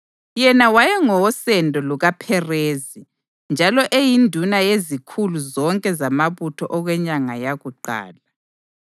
Yena wayengowosendo lukaPherezi njalo eyinduna yezikhulu zonke zamabutho okwenyanga yakuqala.